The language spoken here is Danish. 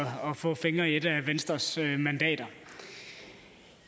få fingre i et af venstres mandater